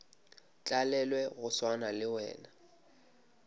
tlalelwe go swana le wena